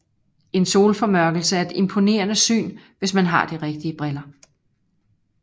En solformørkelse er et imponerende syn hvis man har de rigtige briller